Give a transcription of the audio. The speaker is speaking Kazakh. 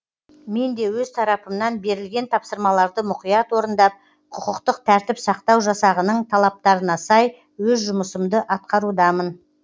мен де өз тарапымнан берілген тапсырмаларды мұқият орындап құқықтық тәртіп сақтау жасағының талаптарына сай өз жұмысымды атқарудамын